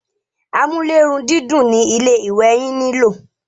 amúlérùndídùn ni ilé ìwẹ̀ yín nilò.